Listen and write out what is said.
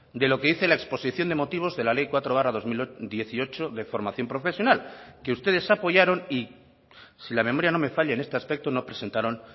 de lo que dice la exposición de motivos de la ley cuatro barra dos mil dieciocho de formación profesional que ustedes apoyaron y si la memoria no me falla en este aspecto no presentaron